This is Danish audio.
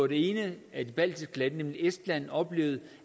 det ene af de baltiske lande nemlig estland oplevede